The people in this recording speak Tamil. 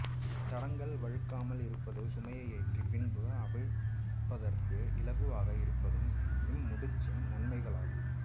தடங்கள் வழுக்காமல் இருப்பதும் சுமையேற்றிய பின்பும் அவிழ்ப்பதற்கு இலகுவாக இருப்பதும் இம் முடிச்சின் நன்மைகள் ஆகும்